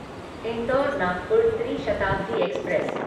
indoor Nagpur ट्री Shatabdi express